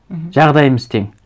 мхм жағдайымыз тең